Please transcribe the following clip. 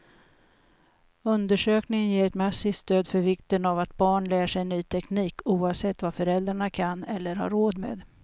Undersökningen ger ett massivt stöd för vikten av att barn lär sig ny teknik, oavsett vad föräldrarna kan eller har råd med.